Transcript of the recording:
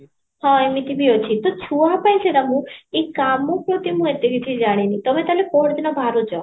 ହଁ ଏମିତି ବି ଅଛି ତ ଛୁଆ ପାଇଁ ସେଟା ମୁଁ ଏଇ କାମ ପ୍ରତି ମୁଁ ଏତେ କିଛି ଜାଣିନି ତମେ ତାହାଲେ ପହରଦିନ ବାହାରୁଚ